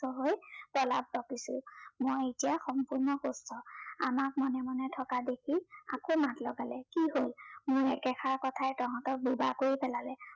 অসুস্থ হৈ প্ৰলাপ বকিছো। মই এতিয়া সম্পূৰ্ণ সুস্থ। আমাক মনে মনে থকা দেখি আকৌ মাত লগালে, কি হল, মোৰ একেষাৰ কথাই তহঁতক বোবা কৰি পেলালে।